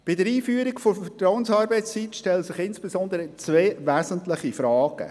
Bei der Einführung der Vertrauensarbeitszeit stellen sich insbesondere zwei wesentliche Fragen.